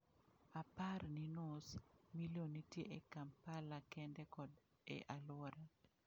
Opar ni nus milion nitie e Kampala kende kod e alwora.